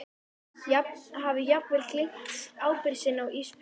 Hafi jafnvel gleymt ábyrgð sinni á Ísbjörgu.